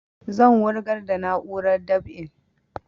Zan wurgar da na'urar dab'in